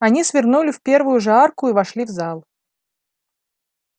они свернули в первую же арку и вошли в зал